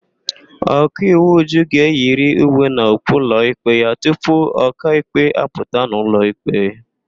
Ọkaiwu Uju ga-eyiri uwe na okpu ụlọikpe ya tupu ọkaikpe apụta n'ụlọ ikpe.